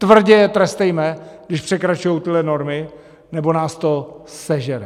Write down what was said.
Tvrdě je trestejme, když překračují tyhle normy, nebo nás to sežere!